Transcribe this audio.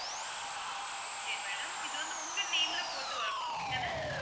ஆஹ் okay ma'am இது வந்து உங்க name ல போட்டு வரணும் அப்படி தானே